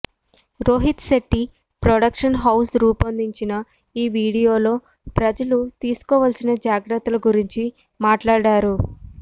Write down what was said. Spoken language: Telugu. రోహిత్ శెట్టి ప్రొడక్షన్ హౌజ్ రూపొందించిన ఈ వీడియోలో ప్రజలు తీసుకోవాల్సిన జాగ్రత్తల గురించి మాట్లాడారు